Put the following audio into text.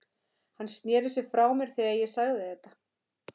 Hann sneri sér frá mér þegar ég sagði þetta.